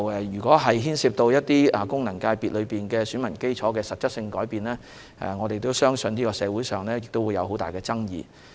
若牽涉到功能界別選民基礎的實質改變，我們相信社會上會有很大爭議。